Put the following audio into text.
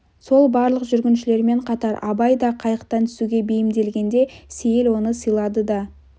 сол барлық жүргіншілермен қатар абай да қайықтан түсуге бейімделгенде сейіл оны сыйлады да